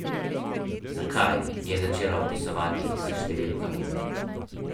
Čarobna beseda je sproščenost, srčika umske adaptacije na potop.